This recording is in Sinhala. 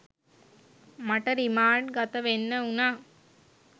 මට රිමාන්ඩ් ගත වෙන්න වුණා